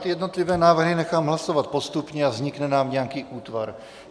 Ty jednotlivé návrhy nechám hlasovat postupně a vznikne nám nějaký útvar.